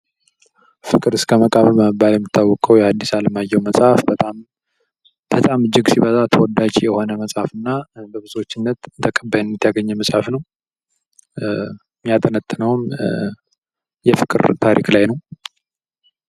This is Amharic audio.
ፍቅር እስከ መቃብር በመባል የሚታወቀው የአዲስ አለማየሁ መፅሐፍ በጣም እጅግ በጣም ሲበዛ ተወዳጅ የሆነ መጽሐፍና በብዙዎችም ተቀባይነት ያግኘ መጽሐፍ ነው:: የሚያጠነጥነውም የፍቅር ታሪክ ላይ ነው::